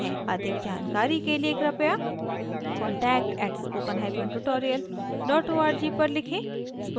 अधिक जानकारी के लिए कृपया conatct@spokentutorialorg पर लिखें